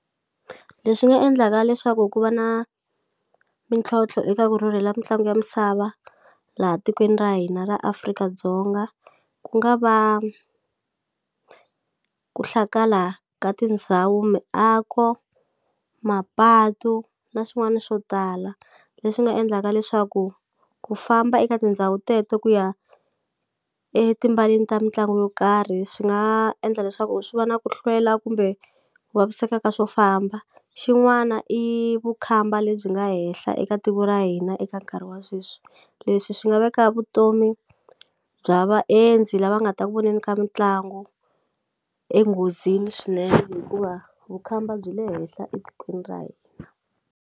Leswi nga endlaka leswaku ku va na mintlhontlho eka ku rhurhela mitlangu ya misava laha tikweni ra hina ra Afrika-Dzonga ku nga va ku hlakala ka tindhawu miako mapatu na swin'wana swo tala leswi nga endlaka leswaku ku famba eka tindhawu teto ku ya etimbaleni ta mitlangu yo karhi swi nga endla leswaku swi va na ku hlwela kumbe ku vaviseka ka swo famba xin'wana i vukhamba lebyi nga henhla eka tiko ra hina eka nkarhi wa sweswi leswi swi nga veka vutomi bya vaendzi lava nga ta ku voneni ka mitlangu enghozini swinene hikuva vukhamba byi le henhla etikweni ra hina.